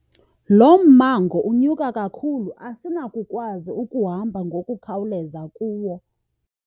Lo mmango unyuka kakhulu asinakukwazi ukuhamba ngokukhawuleza kuwo.